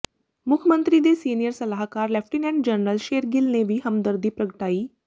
ਮੁੱਖ ਮੰਤਰੀ ਦੇ ਸੀਨੀਅਰ ਸਲਾਹਕਾਰ ਲੈਫ਼ਟੀਨੈਂਟ ਜਨਰਲ ਸ਼ੇਰਗਿੱਲ ਨੇ ਵੀ ਹਮਦਰਦੀ ਪ੍ਰਗਟਾਈ